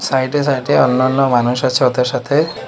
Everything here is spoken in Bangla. সাইট এ সাইট এ অন্যান্য মানুষ আছে ওদের সাথে।